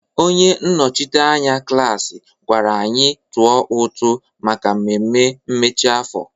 Onye nnọchiteanya klaasị gwara anyị tụọ ụtụ maka mmemme mmechi afọ.